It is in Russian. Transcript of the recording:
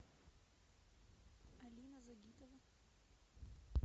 алина загитова